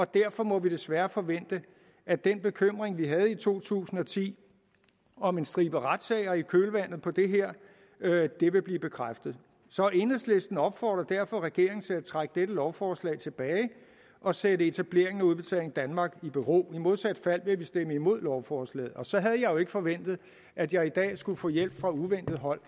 derfor må vi desværre forvente at den bekymring vi havde i to tusind og ti om en stribe retssager i kølvandet på det her vil blive bekræftet så enhedslisten opfordrer derfor regeringen til at trække dette lovforslag tilbage og sætte etableringen af udbetaling danmark i bero i modsat fald vil vi stemme imod lovforslaget så havde jeg jo ikke forventet at jeg i dag skulle få hjælp fra uventet hold